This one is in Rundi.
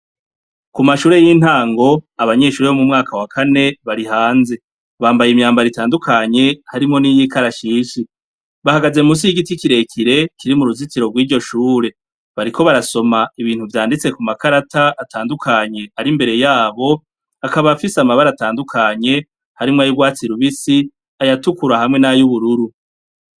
Ku mashure y'intango abanyeshure bo mu mwaka wa kane bari hanze. Bambaye imyambaro itandukanye harimo n'iyikarashishi, bahagaze mu nsi y'igiti ikirekire kiri mu ruzitiro rw'ijyo shure ,bariko barasoma ibintu vyanditse ku makarata atandukanye ari mbere yabo, akaba afise amabare atandukanye harimo ay'ubwatsirubisi ayatukura hamwe n'ay ubururu.